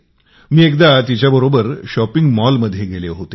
मी एकदा तिच्यासोबत shopping mall मध्ये गेले होते